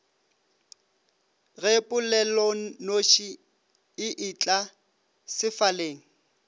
ge polelonoši e etla sefaleng